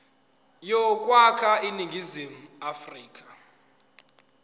yokwakha iningizimu afrika